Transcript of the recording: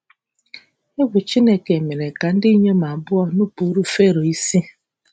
Egwu Chineke mere ka ndị inyom abụọ nupụrụ Fero isi.